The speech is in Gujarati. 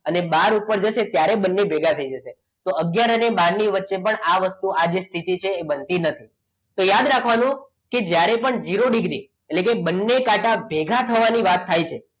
અને બાર ઉપર જશે ત્યારે બંને ભેગા થઈ જશે તો આગયાર અને બાર ની વચ્ચે પણ આ વસ્તુ આ સ્થિતિ છે બનતી નથી તો યાદ રાખવાનું જ્યારે પણ ઝીરો ડિગ્રી એટલે કે બંને કાંટા ભેગા થવાની વાત થાય છે